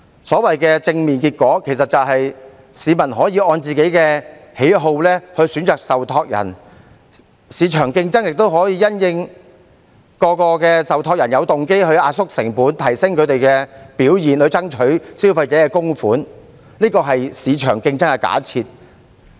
所謂的正面結果，其實只是市民可以按個人喜好選擇受託人，市場競爭亦令各個受託人有動機壓縮成本，提升他們的表現，以爭取消費者的供款，這是市場競爭的假設。